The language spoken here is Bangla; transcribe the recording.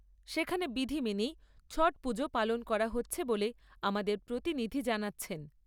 সেখানে বিধি মেনেই ছট পুজো পালন করা হচ্ছে বলে আমাদের প্রতিনিধি জানাচ্ছেন।